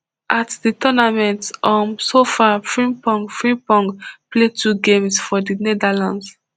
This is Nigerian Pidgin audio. at di tournament um so far frimpong frimpong play two games for di netherlands